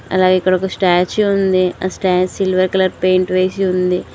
అలాగే ఇక్కడ ఒక స్టాచ్చు ఉంది ఆ స్టాచ్ సిల్వర్ కలర్ పెయింట్ వేసి ఉంది.